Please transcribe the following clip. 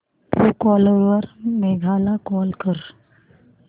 Truecaller वर मेघा ला call कर